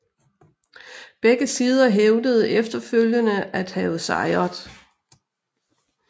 Begge sider hævdede efterfølgende at have sejret